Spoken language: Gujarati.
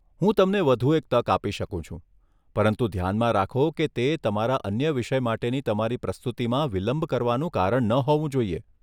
હું તમને વધુ એક તક આપી શકું છું, પરંતુ ધ્યાનમાં રાખો કે તે તમારા અન્ય વિષય માટેની તમારી પ્રસ્તુતિમાં વિલંબ કરવાનું કારણ ન હોવું જોઈએ.